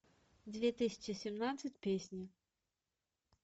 две тысячи семнадцать песни